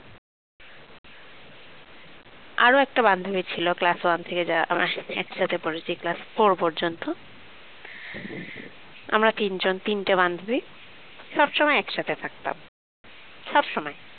আরো একটা বান্ধবী ছিল class one থেকে যারা আমার সাথে একসাথে পড়েছে class four পর্যন্ত আমরা তিনজন তিনটে বান্ধবী সবসময় একসাথে থাকতাম সবসময়